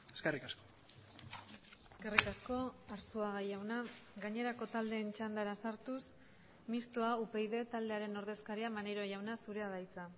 eskerrik asko eskerrik asko arzuaga jauna gainerako taldeen txandara sartuz mistoa upyd taldearen ordezkaria maneiro jauna zurea da hitza